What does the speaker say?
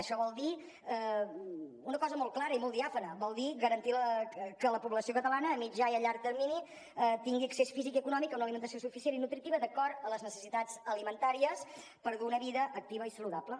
això vol dir una cosa molt clara i molt diàfana vol dir garantir que la població catalana a mitjà i a llarg termini tingui accés físic i econòmic a una alimentació suficient i nutritiva d’acord a les necessitats alimentàries per dur una vida activa i saludable